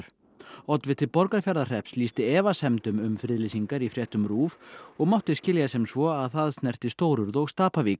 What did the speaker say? oddviti Borgarfjarðarhrepps lýsti efasemdum um friðlýsingar í fréttum RÚV og mátti skilja sem svo að það snerti stórurð og